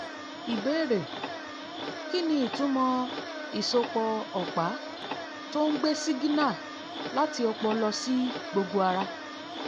ìbéèrè: kí ni ìtumọ̀ ìsopọ̀ ọ̀pá tó ń gbé sígínà láti ọpọlọ lọ sí gbogbo ara?